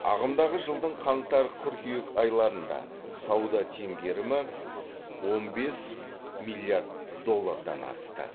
ағымдағы жылдың қаңтар қыркүйек айларында сауда теңгерімі он бес миллиард доллардан асты